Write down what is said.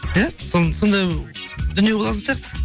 иә сондай дүние болатын сияқты